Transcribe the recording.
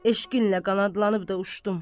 Eşqinlə qanadlanıb da uçdum.